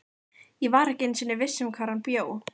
Ég var ekki einu sinni viss um hvar hann bjó.